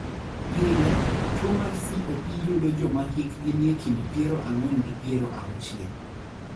Pile, tuo mar COP yudo joma hikgi nie kind piero ang'wen gi piero auchiel.